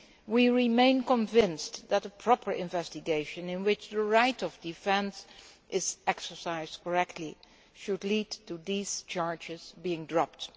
We remain convinced that a proper investigation in which the right of defence is exercised correctly should lead to these charges being dropped.